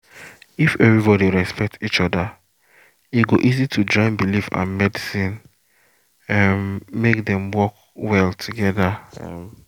if everybody respect each other e go easy to join belief and medicine um make dem work well together. um